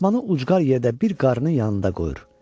Fatmanı ucqar yerdə bir qarının yanında qoyur.